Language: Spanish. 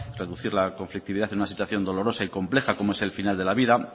reducir la complicidad en una situación dolorosa y compleja como es el final de la vida